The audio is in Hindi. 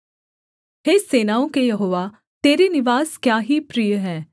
हे सेनाओं के यहोवा तेरे निवास क्या ही प्रिय हैं